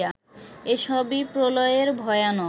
এসবই প্রলয়ের ভয়ানক